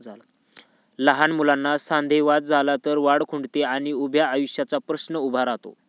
लहान मुलांना सांधेवत झाला तर वाढ खुंटते आणि उभ्या आयुष्याचा प्रश्न उभा राहतो.